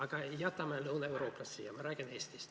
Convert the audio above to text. Aga jätame Lõuna-Euroopa, ma räägin Eestist ...